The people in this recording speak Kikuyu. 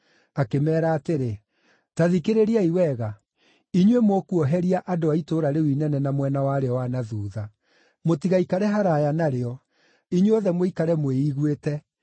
akĩmeera atĩrĩ: “Ta thikĩrĩriai wega. Inyuĩ mũkuoheria andũ a itũũra rĩu inene na mwena warĩo wa na thuutha. Mũtigaikare haraaya narĩo. Inyuothe mũikare mwĩiguĩte.